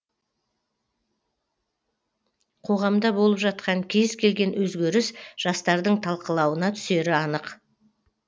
қоғамда болып жатқан кез келген өзгеріс жастардың талқылауына түсері анық